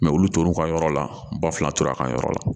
olu tora u ka yɔrɔ la ba fila tora a ka yɔrɔ la